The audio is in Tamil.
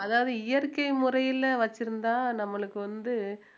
அதாவது இயற்கை முறையிலே வச்சிருந்தா நம்மளுக்கு வந்து